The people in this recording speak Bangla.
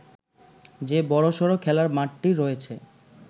যে বড়সড় খেলার মাঠটি রয়েছে